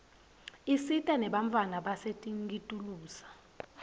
isita nebantfwana basetinkitulisa